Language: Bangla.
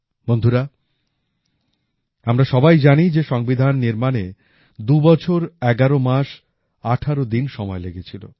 বন্ধুরা আমরা সবাই জানি যে সংবিধান নির্মাণে ২ বছর ১১ মাস ১৮ দিন সময় লেগেছিল